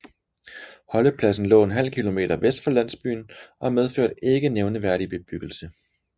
Holdepladsen lå ½ km vest for landsbyen og medførte ikke nævneværdig bebyggelse